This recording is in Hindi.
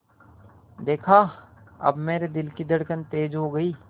देखा अब मेरे दिल की धड़कन तेज़ हो गई